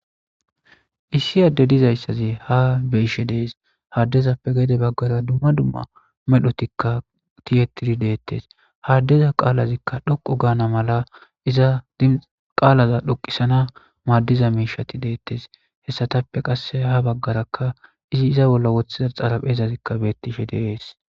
Issi adde dizayssazi ha beishe dees haaddezappe gede baggara dumma dumma medhotikka tiyettidi deettes haaddeza qaalazikka dhoqu gaana mala iza qaalaza dhoqisana maaddiza miishati deettes hessatappe qasse ha baggarakka izi iza bolla wothidar xalaphezazikka beetishe dees